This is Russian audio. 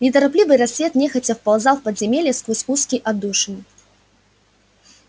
неторопливый рассвет нехотя вползал в подземелье сквозь узкие отдушины